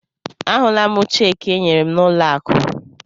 Ahụla m cheekị e nyere m n'ụlọ akụ.